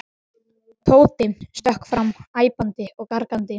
Tóti stökk fram æpandi og gargandi.